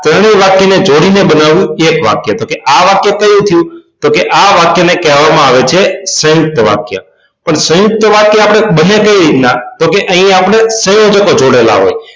પહેલું વાક્ય ને જોડી ને બનાવ્યું એક વાક્ય તો કે આ વાક્ય કયું થયું તો આ વાક્ય ને કહેવામાં આવે છે સયુંકત વાક્ય પણ સયુંકત વાક્ય આપણે બને કેવી રીતના તો કે અહી આપણે સંયોજકો જોડેલા હોય